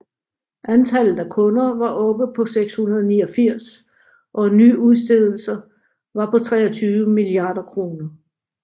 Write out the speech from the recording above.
Antallet af kunder var oppe på 689 og nyudstedelser var på 23 milliarder kroner